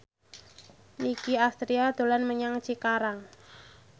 Nicky Astria dolan menyang Cikarang